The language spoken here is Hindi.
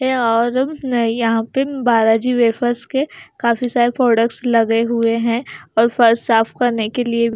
और अह यहां पे बालाजी वेफर्स के काफी सारे प्रोडक्ट्स लगे हुए हैं और फर्श साफ करने के लिए--